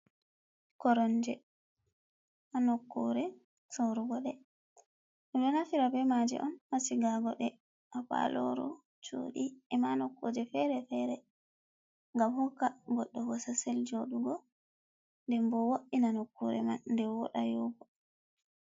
"Koronje" ha nokkure sorugo ɓeɗo nafira be maje on ha sigugo ha paloro chudi ema nokkuje ferefere ngam hokka goɗɗo bosasel joɗugo nɗem bo woɗi na nokkure man nden woɗa yi'ugo.